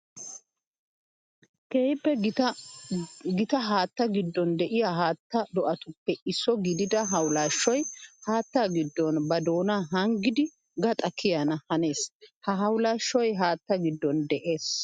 Keehippe gita haatta giddon de'iya haatta do'attuppe isso gididda hawulashshoy haatta gidon ba doona hanggiddi gaxa kiyana hanees. Ha hawulashshoy haatta gidon de'ees.